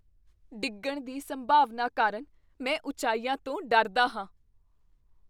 ਡਿੱਗਣ ਦੀ ਸੰਭਾਵਨਾ ਕਾਰਨ ਮੈਂ ਉਚਾਈਆਂ ਤੋਂ ਡਰਦਾ ਹਾਂ।